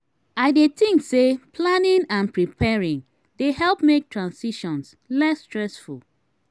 i dey think say planning and preparing dey help make transitions less stressful.